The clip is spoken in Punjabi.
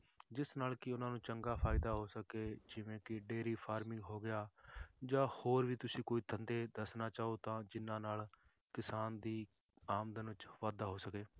ਜਿਸ ਨਾਲ ਕਿ ਉਹਨਾਂ ਨੂੰ ਚੰਗਾ ਫ਼ਾਇਦਾ ਹੋ ਸਕੇ ਜਿਵੇਂ ਕਿ dairy farming ਹੋ ਗਿਆ ਜਾਂ ਹੋਰ ਵੀ ਤੁਸੀਂ ਕੋਈ ਧੰਦੇ ਦੱਸਣਾ ਚਾਹੋ ਤਾਂ ਜਿੰਨਾਂ ਨਾਲ ਕਿਸਾਨ ਦੀ ਆਮਦਨ ਵਿੱਚ ਵਾਧਾ ਹੋ ਸਕੇ